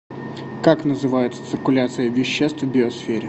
как называется циркуляция веществ в биосфере